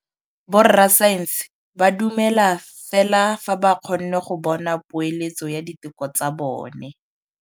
Borra saense ba dumela fela fa ba kgonne go bona poeletsô ya diteko tsa bone.